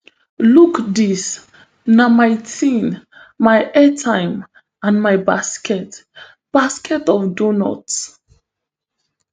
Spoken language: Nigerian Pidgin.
look dis na my tin my airtime and my basket basket of doughnuts